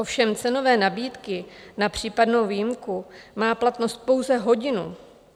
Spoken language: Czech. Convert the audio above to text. Ovšem cenové nabídky na případnou výjimku mají platnost pouze hodinu.